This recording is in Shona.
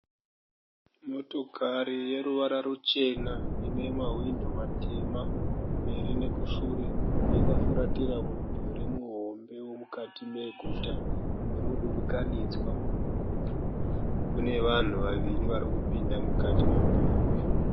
Motokari yeruvara ruchena inemahwindo matema kumberi nekushure. Yakafuratira mudhuri muhombe womukati meguta yemudurikanidzwa. Kune vanhu vaviri varikupinda mukati memudhuri uyu.